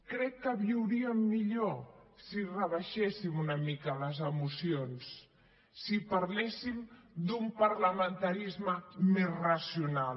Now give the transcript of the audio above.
crec que viuríem millor si rebaixéssim una mica les emocions si parléssim d’un parlamentarisme més racional